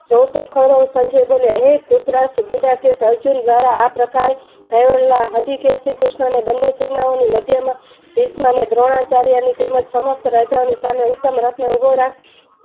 જોવ તો ખરું સંજય બોલે હે ઘૃત રાષ્ટ્ર અર્જુન દ્વારા આ પ્રકારે શ્રી કૃષ્ન ની બને સેનાએ ઓની ભીસમ ને દ્રોણ ચાર્ય ની તેમજ સમક્ષ રાજાઓની સામે ઉત્તમ રસ ને ઉભો રાખી